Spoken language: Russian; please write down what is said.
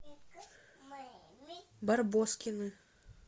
барбоскины